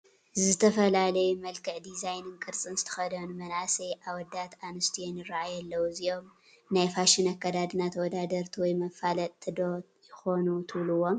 ዝተፈላለዩ መልክዕ፣ ዲዛይንን ቅርፅን ዝተኸደኑ መናእሰይ ኣወዳትን ኣንስትዮን ይራኣዩ ኣለው፡፡ እዚኦም ናይ ፋሽን ኣካዳድና ተወዳደርቲ ወይ መፋለጥቲ ዶ ይኾኑ ትብልዎም?